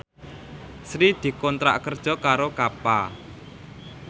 Sri dikontrak kerja karo Kappa